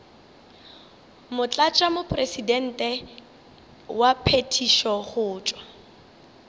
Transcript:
motlatšamopresidente wa phethišo go tšwa